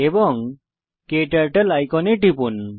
এবং ক্টার্টল আইকনে টিপুন